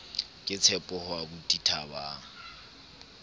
ke tshepo ho aubuti thabang